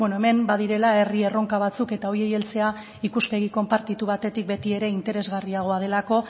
hemen badirela herri erronka batzuk eta horiei heltzea ikuspegi konpartitu batetik beti ere interesgarria delako